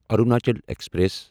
Arunachal express